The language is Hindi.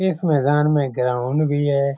इस मैदान में ग्राउंड भी है।